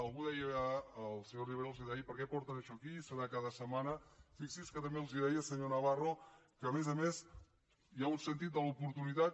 algú els deia el senyor rivera els deia per què porten això aquí serà cada setmana fixi’s que també els deia senyor navarro que a més a més hi ha un sentit de l’oportunitat